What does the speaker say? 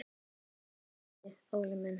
Guð geymi þig, Óli minn.